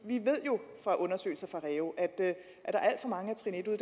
vi ved jo fra undersøgelser fra reu at der er alt for mange